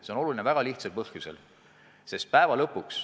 See on oluline väga lihtsal põhjusel.